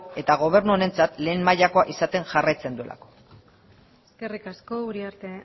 eta gobernu honentzat lehen mailakoa jarraitzen duelako eskerrik asko uriarte